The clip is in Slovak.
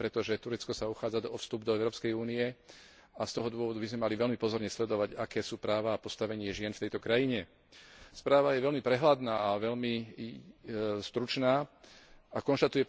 Najmä preto, že Turecko sa uchádza o vstup do Európskej únie a z tohto dôvodu by sme mali veľmi pozorne sledovať, aké sú práva a postavenie žien v tejto krajine. Správa je veľmi prehľadná a veľmi stručná a konštatuje,